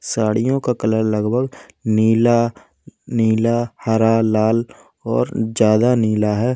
साड़ियों का कलर लगभग नीला नीला हरा लाल और ज्यादा नीला है।